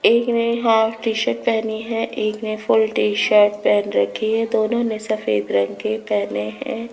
एक ने half T shirt पहनी है एक में फुल टी शर्ट पहन रखी है दोनों ने सफेद रंग के पहने हैं।